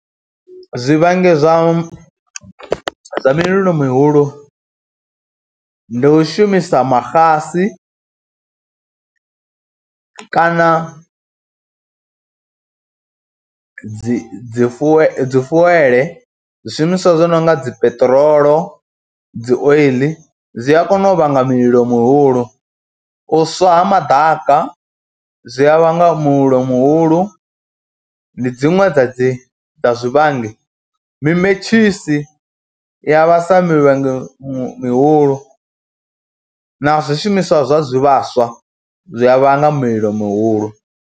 Zwivhangi zwa mililo mihulu ndi u shumisa maxasi kana dzi dzi fuwe dzi fuwele zwishumiswa zwi no nga dzi peṱirolo, dzi oiḽi, zwi a kona u vhanga mulilo muhulu. U swa ha madaka zwi a vhanga mulilo muhulu, ndi dziṅwe dza dzi zwivhangi, mimetshisi ya vhasa mililo mihulu na zwishumiswa zwa zwivhaswa zwi a vhanga mililo mihulu.